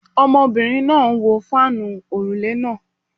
Ọmọbìnrin náà ń wo fáànù òrùlé náà